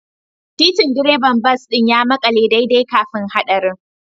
Titin direban bas ɗin ya makale daidai kafin haɗarin